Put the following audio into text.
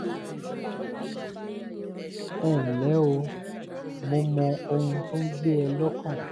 ẹ ǹlẹ́ o mo mọ ohun tó ń gbé ẹ lọ́kàn